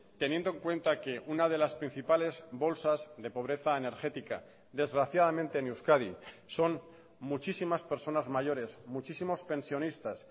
teniendo en cuenta que una de las principales bolsas de pobreza energética desgraciadamente en euskadi son muchísimas personas mayores muchísimos pensionistas